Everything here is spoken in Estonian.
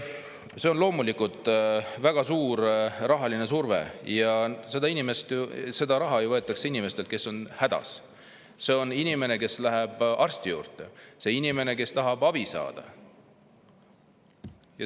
See on loomulikult väga suur rahaline surve ja seda raha ju võetakse inimeselt, kes on hädas, inimeselt, kes läheb arsti juurde, inimeselt, kes tahab abi saada.